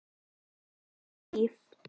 Níu líf